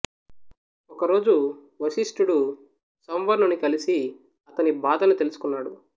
ఒక రోజు వశిష్ఠుడు సంవర్ణుని కలిసి అతని బాధను తెలుసుకున్నాడు